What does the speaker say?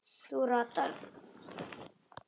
Þú ratar.